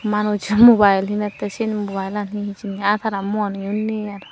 manuch mobile hinette seyenot mobile lan hee hijeni aa tara muaniyo nei aro.